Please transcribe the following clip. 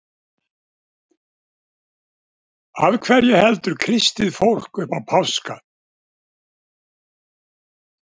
Af hverju heldur kristið fólk upp á páska?